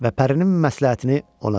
Və pərinin məsləhətini ona dedi.